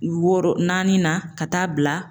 Wɔɔrɔ naani na ka taa bila